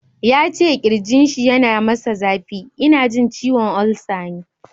Yace kirjinshi yana masa zafi, ina jin ciwon ulcer ne